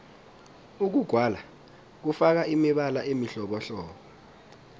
ukugwala kufaka imibala emihlobohlobo